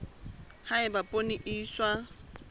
ha eba poone e iswa